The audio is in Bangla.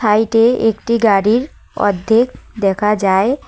সাইটে -এ একটি গাড়ির অর্ধেক দেখা যায়।